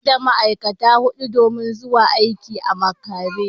Sabon MD ya dakatar da ma’aikata hudu domin zuwa aiki a makare.